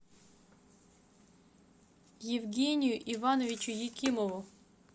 евгению ивановичу екимову